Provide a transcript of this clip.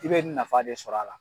I bɛ nafa de sɔrɔ a la.